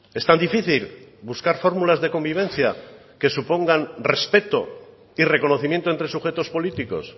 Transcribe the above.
es tan difícil buscar fórmulas de convivencia que supongan respeto y reconocimiento entre sujetos políticos